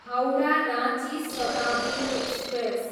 Howrah, Ranchi Shatabdi express